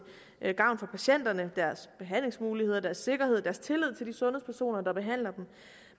gavn for patienterne deres behandlingsmuligheder deres sikkerhed deres tillid til de sundhedspersoner der behandler dem